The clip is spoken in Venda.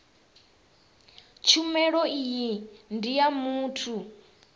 tshumelo iyi ndi ya muthu